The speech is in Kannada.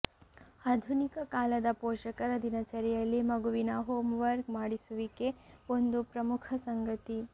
ಆಧುನಿಕ ಕಾಲದ ಪೋಷಕರ ದಿನಚರಿಯಲ್ಲಿ ಮಗುವಿನ ಹೋಂ ವರ್ಕ್ ಮಾಡಿಸುವಿಕೆ ಒಂದು ಪ್ರಮುಖ ಸಂಗತಿ